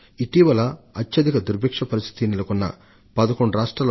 ఇటీవల నేను అత్యధిక దుర్భిక్ష పరిస్థితి నెలకొన్న 11 రాష్ట్రాల